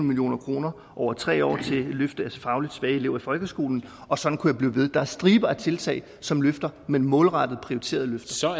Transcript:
million kroner over tre år til løft af fagligt svage elever i folkeskolen og sådan kunne jeg blive ved der er striber af tiltag som løfter men målrettet prioriteret løfter